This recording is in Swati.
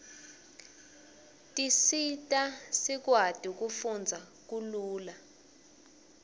tisisa sikwati kufndza kalula